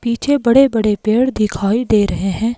पीछे बड़े-बड़े पेड़ दिखाई दे रहे हैं।